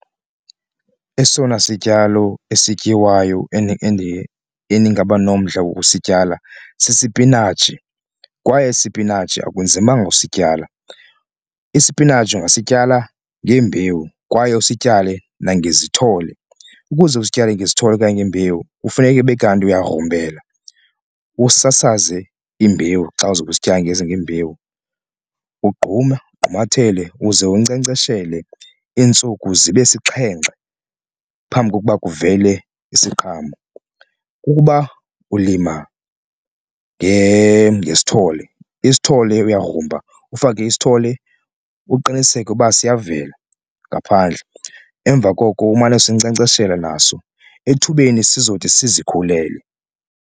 Esona sityalo esityiwayo endingaba nomdla wokusityala sisipinatshi kwaye isipinatshi akunzimanga usityala, isipinatshi ungasityala ngembewu kwaye usityale nangezithole ukuze usityale ngezithole okanye nembewu kufuneke ube kanti uyagrumbela usasaze imbewu xa uzobe usityala ngembewu. Ugqume ugqumathele uze unkcenkceshele iintsuku zibe sixhenxe phambi kokuba kuvele isiqhamo, ukuba ulima ngezithole isithole uyagrumba ufake isithole uqiniseke uba siyazivela ngaphandle emva koko umane usinkcenkceshela naso ethubeni sizothi sizikhulele.